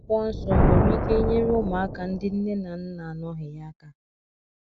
mana akwụkwo nsọ o nwere ike nyere ụmụaka ndi nne na nna anọghi ya aka